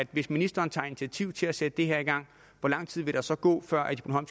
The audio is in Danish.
hvis ministeren tager initiativ til at sætte det her i gang hvor lang tid vil der så gå før